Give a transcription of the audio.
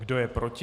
Kdo je proti?